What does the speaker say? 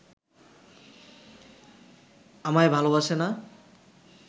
আমায় ভালোবাসে না